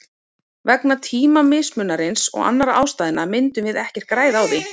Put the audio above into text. Vegna tímamismunarins og annarra ástæðna myndum við ekkert græða á því.